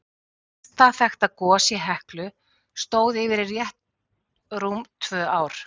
Lengsta þekkta gos í Heklu stóð yfir í rétt rúm tvö ár.